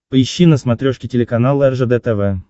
поищи на смотрешке телеканал ржд тв